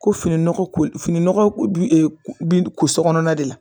Ko fini nɔgɔ ko fini nɔgɔ ko dun bi ko so kɔnɔna de la